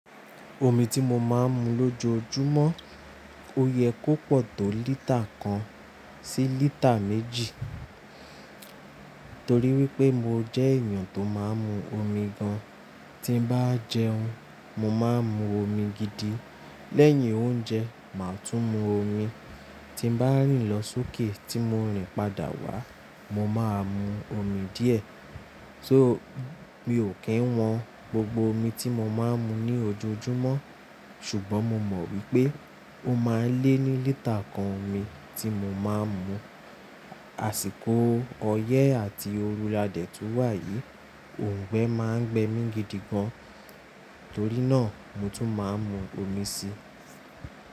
Omi tí mo máa ń mu lójoojúmọ́, ó yẹ kó pọ̀ tó lítà kan sí lítà méjì. Torí wípé mo jẹ́ èèyàn tó máa ń mu omi gan. Tí bá jẹun, mo máa ń mu omi gidi. Lẹ́yìn oúnjẹ, màá tún mu omi. Tí bá rìn lọ sókè tí mo rìn padà wá, mo máa mu omi díẹ̀. So mi ò kí ń wọn gbogbo omi tí mo máa ń mu ní ojoojúmọ́. Ṣùgbọ́n mo mọ̀ wípé ó máa lé ní lítà kan omi tí mo máa ń mu. Àsìkò ọyẹ́ àti òrù la dẹ̀ tún wà yí, òǹgbẹ máa ń gbẹ mí gidigan, torí náà mo tún máa ń mu omi si.